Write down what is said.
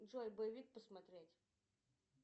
джой боевик посмотреть